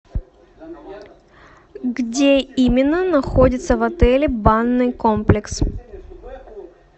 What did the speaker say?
где именно находится в отеле банный комплекс